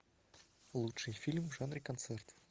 лучший фильм в жанре концерт